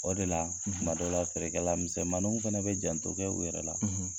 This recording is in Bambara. O de la, tuma dɔ la , feerekɛlal misɛniw fana bɛ janto kɛ u yɛrɛ la, .